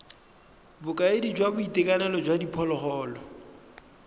bokaedi jwa boitekanelo jwa diphologolo